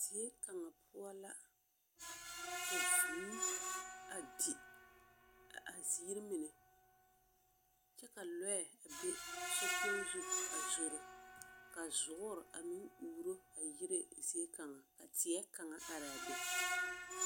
Zie kaŋa poͻ la, ka vũũ a di a a ziiri mine kyԑ ka lͻԑ be sokpoŋ zu a zoro. Ka zoore a meŋ uuro yire ziekaŋa. Ka teԑkaŋa araa be